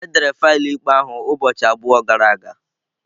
Edere faịlụ ikpe ahụ ụbọchị abụọ gara aga.